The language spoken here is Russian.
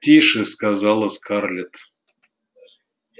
тише сказала скарлетт